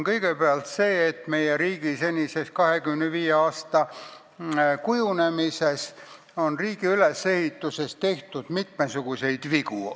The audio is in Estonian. Kõigepealt tuleks tunnistada, et meie riigi kujunemisel, selle 25 aasta jooksul, on meie riigi ülesehitusel mitmesuguseid vigu tehtud.